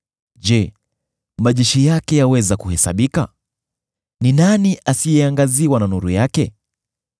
Je, majeshi yake yaweza kuhesabika? Ni nani asiyeangaziwa na nuru yake?